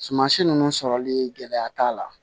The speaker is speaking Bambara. Sumansi ninnu sɔrɔli gɛlɛya t'a la